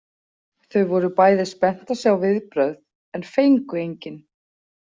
Þau voru bæði spennt að sjá viðbrögð en fengu engin.